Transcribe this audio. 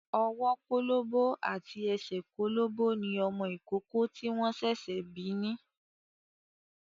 Ọwọ́ kólóbó àti ẹsẹ̀ kólóbó ni ọmọ ìkókó tí wọ́n ṣẹ̀ṣẹ̀ bí ni.